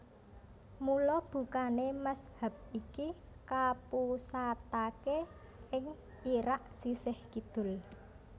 Mula bukané mazhab iki kapusataké ing Irak sisih kidul